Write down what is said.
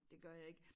Det gør jeg ik